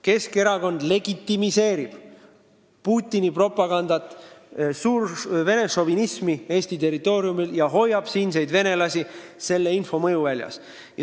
Keskerakond legitimeerib Putini propagandat ja suurvene šovinismi Eesti territooriumil ning hoiab siinseid venelasi sellise info mõjuväljas.